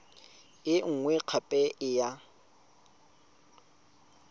e nngwe gape e ya